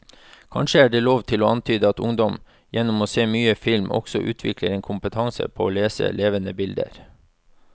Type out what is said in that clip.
Kanskje er det lov å antyde at ungdom gjennom å se mye film også utvikler en kompetanse på å lese levende bilder.